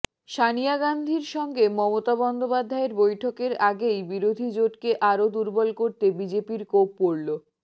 সনিয়া গাঁধীর সঙ্গে মমতা বন্দ্যোপাধ্যায়ের বৈঠকের আগেই বিরোধী জোটকে আরও দুর্বল করতে বিজেপির কোপ পড়ল